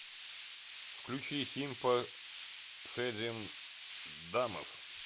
включи симпа хадим дамов